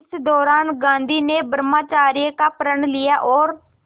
इसी दौरान गांधी ने ब्रह्मचर्य का प्रण लिया और